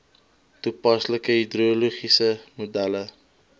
toepaslike hidrologiese modelle